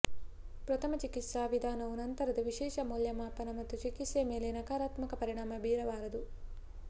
ಪ್ರಥಮ ಚಿಕಿತ್ಸಾ ವಿಧಾನವು ನಂತರದ ವಿಶೇಷ ಮೌಲ್ಯಮಾಪನ ಮತ್ತು ಚಿಕಿತ್ಸೆ ಮೇಲೆ ನಕರಾತ್ಮಕ ಪರಿಣಾಮ ಬೀರಬಾರದು